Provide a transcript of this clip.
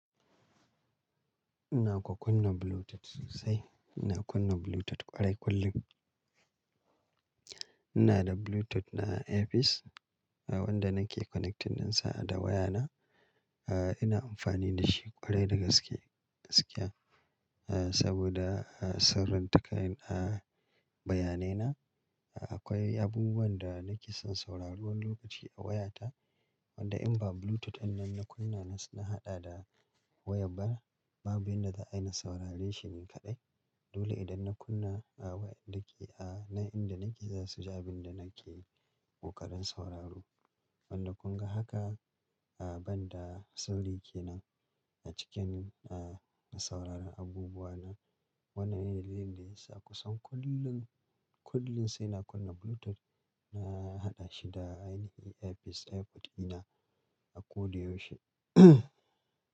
Ina kwa kunna Bluetooth sosai. Ina kunna Bluetooth ƙwarai kullum. Ina da Bluetooth na earpiece wanda nake connecting dinsa da waya na. Ah, ina amfani da shi ƙwarai da gaske, gaske. Ah, saboda, ah, sirranta ƙayan, ah, bayanai na. Akwai abubuwan da nake son sauraro wani lokaci a waya ta wanda in ba Bluetooth ɗin nan na kunna, na haɗa da wayar ba, babu yanda zai in saurare shi ni kaɗai. Dole idan na kunna, ah, wayar da ke, ah, nan inda nake za su ji abin da nake ƙoƙarin sauraro. Wanda kun ga haka, ah, ban da sirri kenan a cikin, ah, na sauraron abubuwa na. Wannan ne dalilin da yasa kusan kullum, kullum sai na kunna Bluetooth na haɗa shi da ainahin earpiece, AirPod ina a koyaushe.